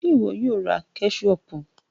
Ṣe iwọ yoo ra kẹṣopu?